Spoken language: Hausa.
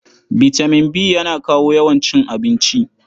Bitaman B yana kawo yawan cin abinci.